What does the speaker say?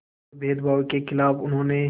और भेदभाव के ख़िलाफ़ उन्होंने